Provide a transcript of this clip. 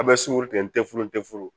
A bɛ sugɔro tigɛ n tɛ furu n tɛ furu